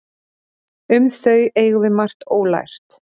Um þau eigum við margt ólært.